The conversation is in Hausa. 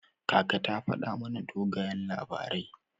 Kaka ta faɗa mana dogayen labarai.